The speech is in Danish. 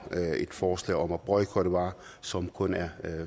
et forslag om at boykotte varer som kun er